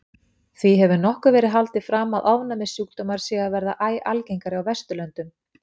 Því hefur nokkuð verið haldið fram að ofnæmissjúkdómar séu að verða æ algengari á Vesturlöndum.